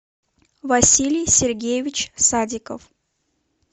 василий сергеевич садиков